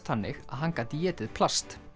þannig að hann gat étið plast